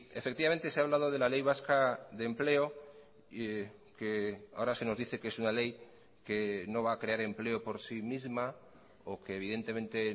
efectivamente se ha hablado de la ley vasca de empleo que ahora se nos dice que es una ley que no va a crear empleo por sí misma o que evidentemente